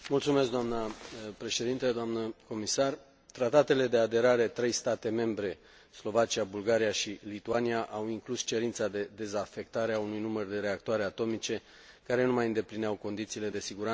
Tratatele de aderare a trei state membre, Slovacia, Bulgaria și Lituania, au inclus cerința de dezafectare a unui număr de reactoare atomice care nu mai îndeplineau condițiile de siguranță și care nu puteau fi modernizate în mod rentabil.